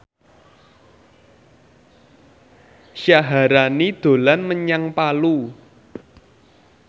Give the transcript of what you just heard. Syaharani dolan menyang Palu